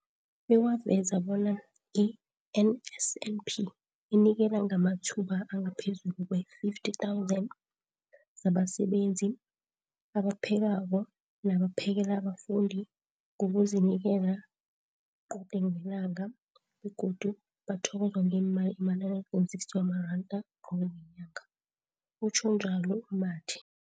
bekwaveza bona i-NSNP inikela ngamathuba angaphezulu kwee 50 000 zabasebenzi abaphekako nabaphakela abafundi ngokuzinikela qode ngelanga, begodu bathokozwa ngemali ema-960 wamaranda qobe ngenyanga, utjhwe njalo u-Mathe.